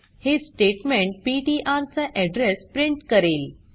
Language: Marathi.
हे स्टेट्मेंट पीटीआर चा अॅड्रेस प्रिंट करेल